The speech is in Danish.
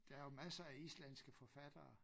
Der jo masser af islandske forfattere